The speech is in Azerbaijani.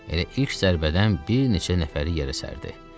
Elə ilk zərbədən bir neçə nəfəri yerə sərdi.